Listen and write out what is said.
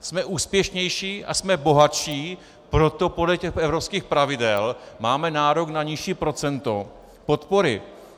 Jsme úspěšnější a jsme bohatší, proto podle těch evropských pravidel máme nárok na nižší procento podpory.